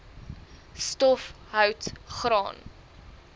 stof hout graan